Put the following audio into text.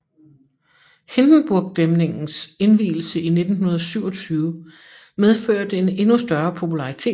Hindenburgdæmningens indvielse i 1927 medførte en endnu større popularitet